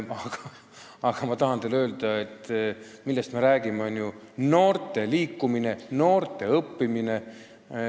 Aga ma tahan teile öelda, et me räägime ju noorte liikumisest, noorte õppimisest.